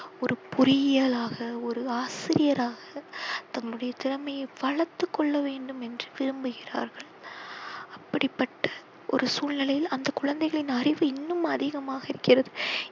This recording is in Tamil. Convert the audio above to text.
ஒரு பொறியாளராக, ஒரு ஆசிரியராக தங்களுடைய திறமையை வளர்த்து கொள்ள வேண்டும் என்று விரும்புகிறார்கள். அப்படிப்பட்ட ஒரு சூழ்நிலையில் அந்த குழந்தைகளின் அறிவு இன்னும் அதிமாக இருக்கிறது.